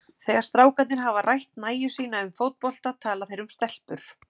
Þegar strákarnir hafa rætt nægju sína um fótbolta tala þeir um stelpur.